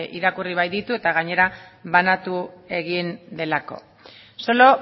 irakurri baititu eta gainera banatu egin delako solo